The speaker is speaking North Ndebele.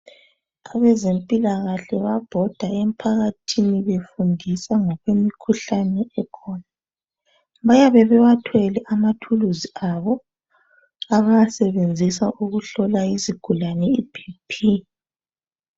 Abezempilakahle bayabhoda emphakathini befundisa ngokwemkhuhlane ekhona. Bayabe bewathwele amathuluzi abo abawasebenzisa ukuhlola izigulane iBP.